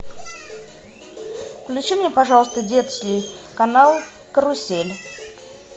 включи мне пожалуйста детский канал карусель